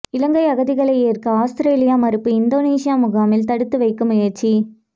இலங்கை அகதிகளை ஏற்க அவுஸ்திரேலியா மறுப்பு இந்தோனேசிய முகாமில் தடுத்து வைக்க முயற்சி